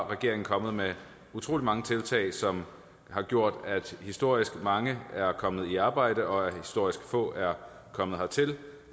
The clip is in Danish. regeringen kommet med utrolig mange tiltag som har gjort at historisk mange er kommet i arbejde og at historisk få er kommet hertil